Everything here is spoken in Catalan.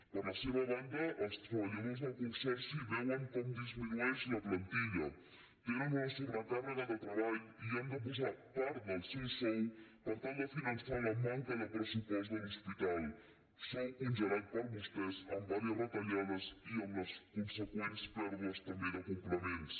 per la seva banda els treballadors del consorci veuen com disminueix la plantilla tenen una sobrecàrrega de treball i han de posar part del seu sou per tal de finançar la manca de pressupost de l’hospital un sou congelat per vostès amb diverses retallades i amb les conseqüents pèrdues també de complements